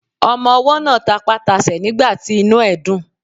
Ọmọwọ́ náà tapá tasẹ̀ nígbàtí inú ẹ̀ dùn.